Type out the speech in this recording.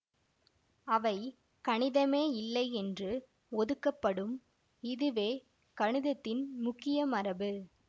அவை கணிதமே இல்லை என்று ஒதுக்கப்படும் இதுவே கணிதத்தின் முக்கிய மரபு